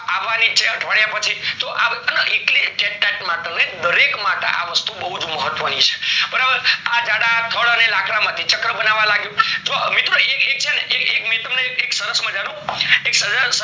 અવની છે અઠવાડિયા પછી તો અખા એટલે માં દરેક માટે આ વસ્તુ ઓ બહુજ મહત્વ ની છે આ જળ થળ માંથી ચક્ર બનાવ્યું જો મિત્રો એક એક એક છેને એકે એકે એક સરસ મજાનું